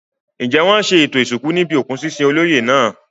Ǹjẹ́ wọn ṣe ètò ìsìnkú níbi òkú sísin olóyè náà?